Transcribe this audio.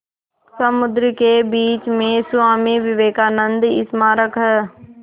समुद्र के बीच में स्वामी विवेकानंद स्मारक है